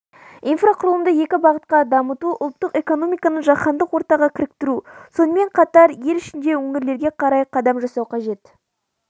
инфрақұрылымды екі бағытта дамыту ұлттық экономиканы жаһандық ортаға кіріктіру сонымен қатар ел ішінде өңірлерге қарай қадам жасау қажет